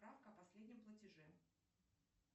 справка о последнем платеже